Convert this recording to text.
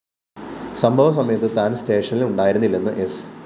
സംഭവ സമയത്ത് താന്‍ സ്റ്റേഷനില്‍ ഉണ്ടായിരുന്നില്ലെന്ന് സ്‌